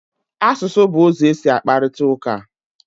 Asụsụ bụ ụzọ e si akparịta ụka.